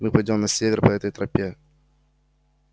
мы пойдём на север по этой тропе